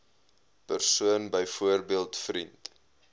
persoon byvoorbeeld vriend